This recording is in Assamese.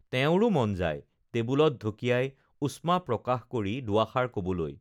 তেওঁৰো মন যায় টেবুলত ঢকিয়াই উষ্মা প্ৰকাশ কৰি দুআষাৰ ক'বলৈ